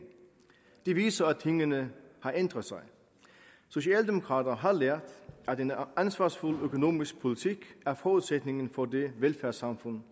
det viser at tingene har ændret sig socialdemokrater har lært at en ansvarsfuld økonomisk politik er forudsætningen for det velfærdssamfund